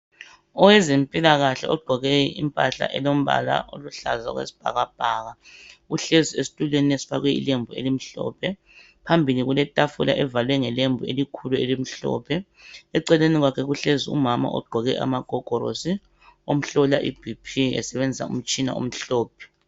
Owezempilakahle ogqoke impahla elombala oluhlaza okwesibhakabhaka uhlezi esitulweni esifakwe ilembu elimhlophe, phambili kuletafula evalwe ngelembu elikhulu elimhlophe. Eceleni kwakhe kuhlezi umama ogqoke amagogorosi omhlola i B.P esebenzisa umtshina omhlophe.